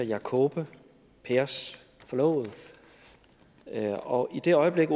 jakobe pers forlovede og i det øjeblik